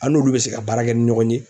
An n'olu bɛ se ka baara kɛ ni ɲɔgɔn ye